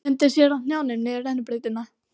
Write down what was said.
Renndi sér á hnjánum niður rennibrautina.